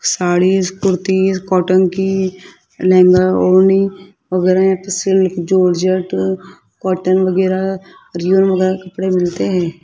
Saris kurti cotton की लहंगा ओढ़नी वगैरह यहां पे सिल्क जॉर्जेट कॉटन वगैरह कपड़े मिलते हैं।